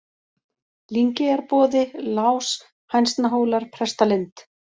Lyngeyjarboði, Lás, Hænsnahólar, Prestalind